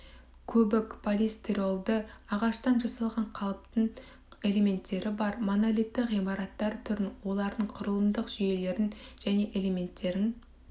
көбік полистиролды ағаштан жасалған қалыптың элементтері бар монолитті ғимараттар түрін олардың құрылымдық жүйелерін және элементтерін